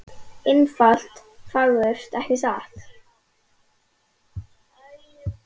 Einfalt og fagurt, ekki satt?